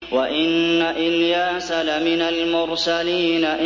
وَإِنَّ إِلْيَاسَ لَمِنَ الْمُرْسَلِينَ